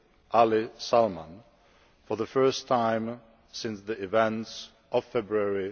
Ali Salman, for the first time since the events of February